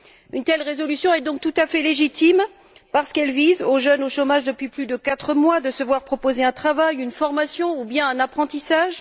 Une telle résolution est, donc, tout à fait légitime, parce qu'elle vise à offrir aux jeunes, au chômage depuis plus de quatre mois, la possibilité de se voir proposer un travail, une formation ou bien un apprentissage